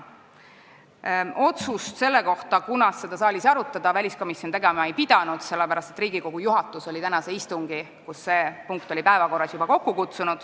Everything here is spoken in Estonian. Otsust selle kohta, millal seda saalis arutada, väliskomisjon tegema ei pidanud, sellepärast et Riigikogu juhatus oli juba kokku kutsunud tänase istungi, kus see punkt oli päevakorras.